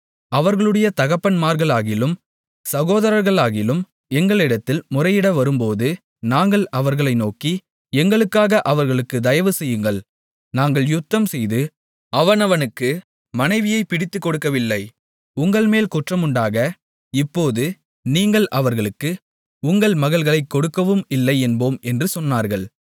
அவர்களுடைய தகப்பன்மார்களாகிலும் சகோதரர்களாகிலும் எங்களிடத்தில் முறையிட வரும்போது நாங்கள் அவர்களை நோக்கி எங்களுக்காக அவர்களுக்குத் தயவு செய்யுங்கள் நாங்கள் யுத்தம் செய்து அவனவனுக்கு மனைவியைப் பிடித்துக்கொடுக்கவில்லை உங்கள்மேல் குற்றமுண்டாக இப்போது நீங்கள் அவர்களுக்கு உங்கள் மகள்களைக் கொடுக்கவும் இல்லை என்போம் என்று சொன்னார்கள்